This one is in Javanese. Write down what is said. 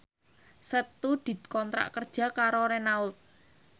Setu dikontrak kerja karo Renault